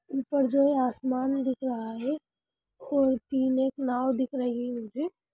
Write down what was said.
ऊपर जो आसमान दिख रहा है और तीन एक नाव दिख रही --